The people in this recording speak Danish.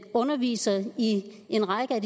underviser i en række af